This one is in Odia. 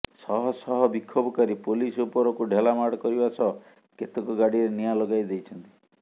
ଶହ ଶହ ବିକ୍ଷୋଭକାରୀ ପୋଲିସ ଉପରକୁ ଢେଲାମାଡ଼ କରିବା ସହ କେତେକ ଗାଡ଼ିରେ ନିଆଁ ଲଗାଇ ଦେଇଛନ୍ତି